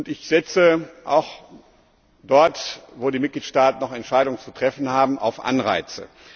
Ich setze auch dort, wo die Mitgliedstaaten noch Entscheidungen zu treffen haben, auf Anreize.